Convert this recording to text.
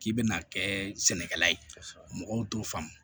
K'i bɛna kɛ sɛnɛkɛla ye mɔgɔw t'o faamu